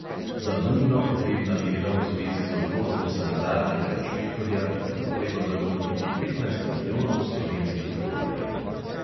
Za nujno potrebna dela v zvezi z odločbo sanitarnega inšpektorja bi bilo treba zagotoviti petnajst milijonov slovenskih tolarjev.